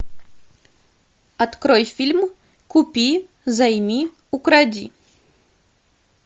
открой фильм купи займи укради